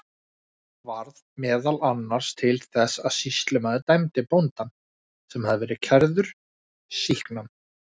Þetta varð meðal annars til þess að sýslumaður dæmdi bóndann, sem hafði verið kærður, sýknan.